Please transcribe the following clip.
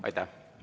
Aitäh!